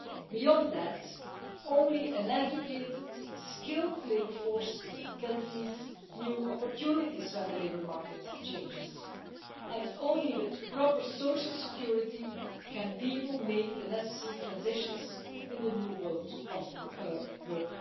Beyond that, only an educated, skilled labour force can seize new opportunities when the labour market changes, and only with proper social security can people make the necessary transitions in the new world of work.